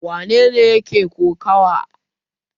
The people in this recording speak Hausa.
Wane ne yake kokawa?